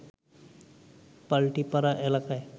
পাল্টিপাড়া এলাকায়